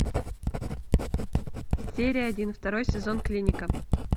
серия один второй сезон клиника